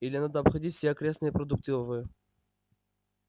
или надо обходить все окрестные продуктовые